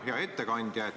Hea ettekandja!